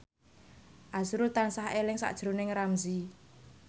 azrul tansah eling sakjroning Ramzy